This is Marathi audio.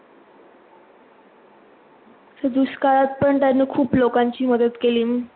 दुष्काळात पण त्यांनी खूप लोकांची मदत केली.